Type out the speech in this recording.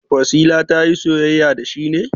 Wasila ta yi soyayya da shi ne?